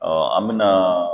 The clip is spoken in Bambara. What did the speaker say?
an bɛna